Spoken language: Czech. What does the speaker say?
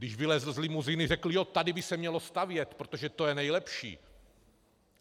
Když vylezl z limuzíny, řekl: "Jo, tady by se mělo stavět, protože to je nejlepší."